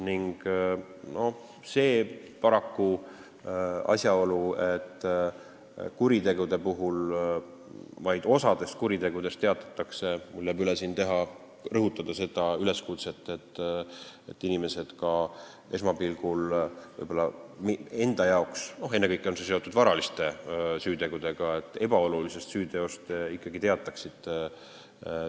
Mis puudutab seda asjaolu, et vaid osast kuritegudest teatatakse, siis jääb üle rõhutada, et inimesed peaksid ka nende arvates esmapilgul võib-olla – ennekõike on see seotud varaliste süütegudega – ebaolulisest süüteost ikkagi teatama.